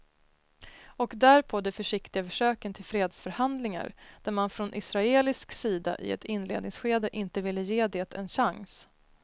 Och därpå de försiktiga försöken till fredsförhandlingar där man från israelisk sida i ett inledningsskede inte ville ge det en chans.